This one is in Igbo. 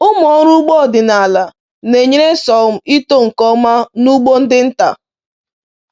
Ụmụ ọrụ ugbo ọdịnala na-enyere sorghum ito nke ọma n’ugbo ndị nta.”